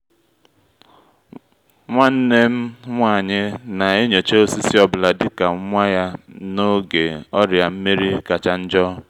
nwannem nwa-anyị na-enyocha osisi ọ bụla dị ka nwa ya na-oge ọrịa nmeri kacha njo